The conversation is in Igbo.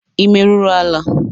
Ị meruru ala?